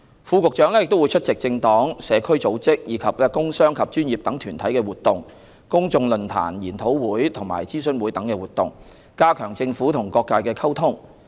副局長亦會出席政黨、社區組織，以及工商及專業等團體的活動、公眾論壇、研討會及諮詢會等活動，加強政府與各界的溝通。